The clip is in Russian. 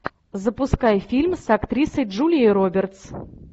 запускай фильм с актрисой джулией робертс